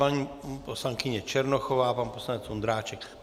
Paní poslankyně Černochová a pan poslanec Ondráček.